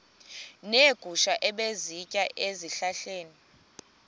neegusha ebezisitya ezihlahleni